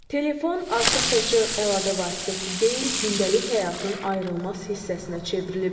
Telefon artıq təkcə əlaqə vasitəsi deyil, gündəlik həyatın ayrılmaz hissəsinə çevrilib.